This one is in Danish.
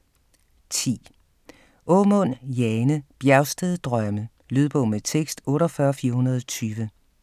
10. Aamund, Jane: Bjergsted drømme Lydbog med tekst 48420